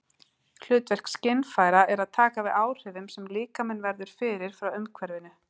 Hlutverk skynfæra er að taka við áhrifum sem líkaminn verður fyrir frá umhverfinu.